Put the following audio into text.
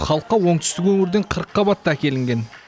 халыққа оңтүстік өңірден қырыққабат та әкелінген